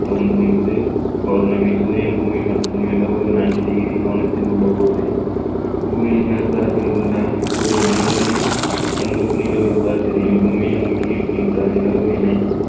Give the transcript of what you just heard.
தோன்றும் இது பௌர்ணமி சூரியன் பூமி மற்றும் நிலவு ninety degree கோணத்தில் உள்ளபோது பூமியின் மேற்பரப்பில் உள்ள ஒரு மனிதனின் கண்களுக்கு நிலவு எவ்வாறு தெரியும் பூமியை நோக்கி இருக்கின்ற நிலவுகினை